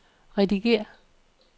redigér